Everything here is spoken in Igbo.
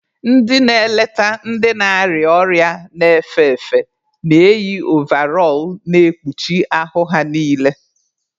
Ndị na-eleta ndị na-arịa ọrịa na-efe efe na-eyị ovarọl na-ekpuchi ahụ ha niile.